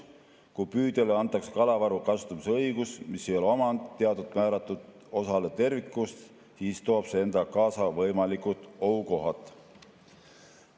Kui püüdjale antakse kalavaru kasutamise õigus, mis ei ole omand, teatud määratud osale tervikust, siis toob see endaga kaasa võimalikud ohukohad.